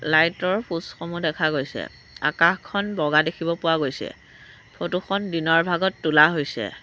Light ৰ post সমূহ দেখা গৈছে আকাশখন বগা দেখিব পোৱা গৈছে ফটো খন দিনৰ ভাগত তোলা হৈছে।